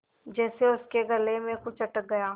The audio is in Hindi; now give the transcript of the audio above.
जैसे उसके गले में कुछ अटक गया